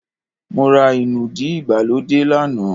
Mó rá inúdí ìgbàlódé lánàá